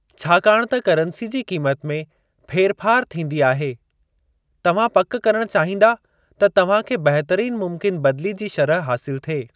छाकाणि त करंसी जी क़ीमत में फेरफार थींदी आहे, तव्हां पक करणु चाहींदा त तव्हां खे बहितरीन मुमकिन बदिली जी शरह हासिलु थिए।